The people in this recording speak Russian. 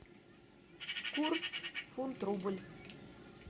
курс фунт рубль